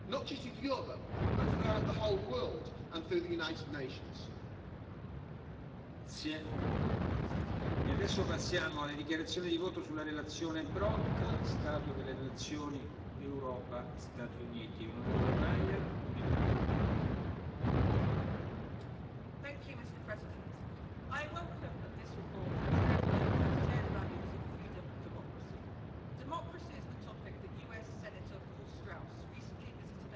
Tisztelt Elnök úr! Támogattam ezt az alapos jelentést, egyetértve azzal, hogy az EU legnagyobb és legközelebbi globális stratégiai partnerével szemben visszafogott és konstruktív hangú kritikát fogalmazzunk meg olyan, remélhetőleg rövid, átmeneti történelmi időszakban is, amikor Trump elnöksége a transzatlanti együttműködés alapjául szolgáló kölcsönös bizalmat veszélyezteti.